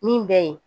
Min bɛ ye